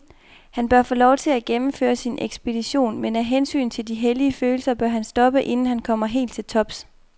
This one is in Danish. Han bør få lov til at gennemføre sin ekspedition, men af hensyn til de hellige følelser bør han stoppe inden han kommer helt til tops.